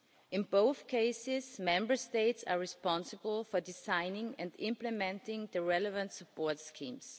In both cases, Member States are responsible for designing and implementing the relevant support schemes.